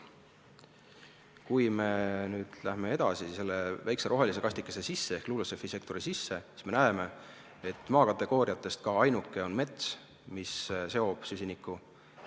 Kui me siin graafikul läheme nüüd edasi selle väikese rohelise kastikese sisse ehk LULUCF-i sektori sisse, siis me näeme, et maa kategooriatest ainuke, mis seob süsinikku, on mets.